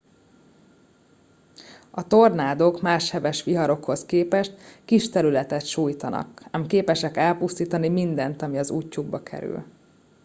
a tornádók más heves viharokhoz képest kis területet sújtanak ám képesek elpusztítani mindent ami az útjukba kerül